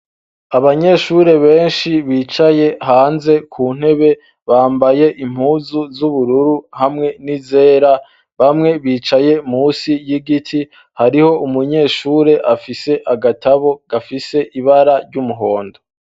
Abanyeshure benshi bicaye hanze ku ntebe, bambaye impuzu z'ubururu hamwe n'izera. Bamwe bicaye munsi y'igiti. Hariho umunyeshure afise agatabo gafise ibara ry'umuhondo.